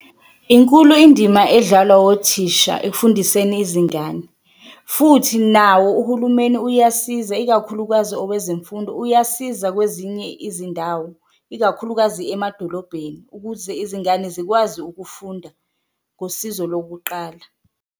Inkulu indima edlalwa othisha ekufundiseni izingane futhi nawo uhulumeni uyasiza ikakhulukazi owezemfundo, uyasiza kwezinye izindawo ikakhulukazi emadolobheni ukuze izingane zikwazi ukufunda ngosizo lokuqala.